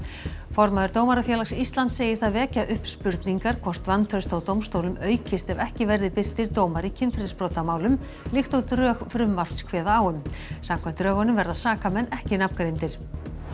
formaður Dómarafélags Íslands segir það vekja upp spurningar hvort vantraust á dómstólum aukist ef ekki verði birtir dómar í kynferðisbrotamálum líkt og drög frumvarps kveða á um samkvæmt drögunum verða sakamenn ekki nafngreindir